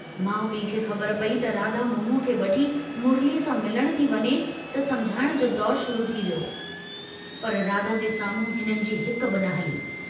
माउ पीउ खे ख़बर पई त राधा मोनूअ खे वठी मुरलीअ सां मिलण थी वञे त समुझाइण जो दौर शुरू थी वियो, पर राधा जे सामुंहू हिननि जी हिक बिन हली।